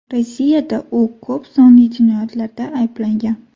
Rossiyada u ko‘p sonli jinoyatlarda ayblangan.